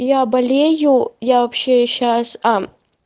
я болею я вообще сейчас а